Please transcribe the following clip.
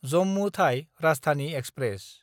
जम्मु थाइ राजधानि एक्सप्रेस